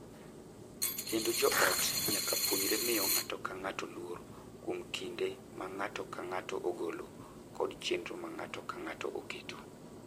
Kendo jo ot nyaka puonjre miyo ng’ato ka ng’ato luor kuom kinde ma ng’ato ka ng’ato ogolo kod chenro ma ng’ato ka ng’ato oketo.